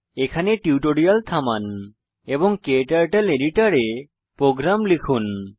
এখানে টিউটোরিয়াল থামান এবং ক্টার্টল এডিটর এ প্রোগ্রাম লিখুন